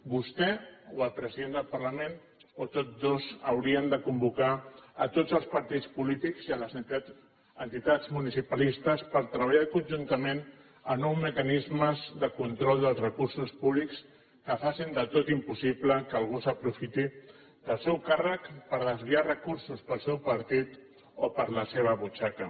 vostè o el president del parlament o tots dos haurien de convocar a tots els partits polítics i les entitats municipalistes per treballar conjuntament en nous mecanismes de control dels recursos públics que facin del tot impossible que algú s’aprofiti del seu càrrec per desviar recursos per al seu partit o per a la seva butxaca